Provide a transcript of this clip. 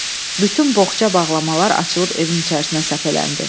Bütün boğça-bağlamalar açılıb evin içərisinə səpələndi.